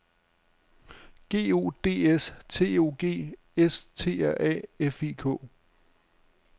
G O D S T O G S T R A F I K